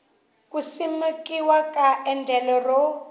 ku simekiwa ka endlelo ro